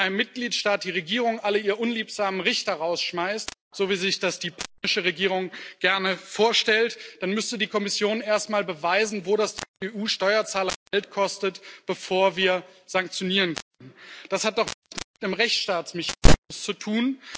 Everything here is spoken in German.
Wenn in einem Mitgliedstaat die Regierung alle ihr unliebsamen Richter rausschmeißt, so wie sich das die polnische Regierung gerne vorstellt, dann müsste die Kommission erst einmal beweisen, wo das die EU Steuerzahler Geld kostet, bevor wir sanktionieren können. Das hat doch mit dem Schutz des Rechtsstaats nichts zu tun.